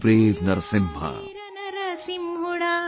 O brave Narasimha